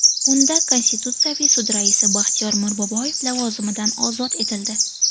Unda Konstitutsiyaviy sud raisi Baxtiyor Mirboboyev lavozimidan ozod etildi.